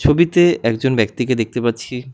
ছবিতে একজন ব্যক্তিকে দেখতে পাচ্ছি।